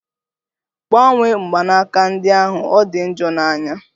Gbanwe mgbanaka ndi ahụ! Ọ di njọ n'anya